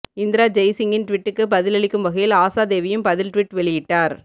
இந்திரா ஜெய்சிங்கின் ட்விட்டுக்கு பதில் அளிக்கும் வகையில் ஆஷாதேவியும் பதில் ட்விட் வெளியிட்டார்